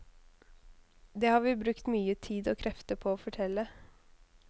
Det har vi brukt mye tid og krefter på å fortelle.